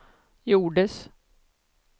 gjordes